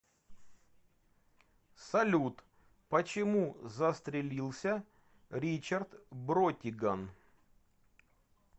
салют почему застрелился ричард бротиган